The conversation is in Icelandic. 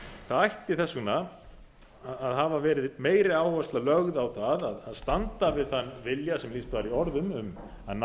það ætti þess vegna að hafa verið meiri áhersla lögð á það að standa við þann vilja sem lýst var í orðum um að ná